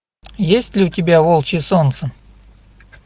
есть ли у тебя волчье солнце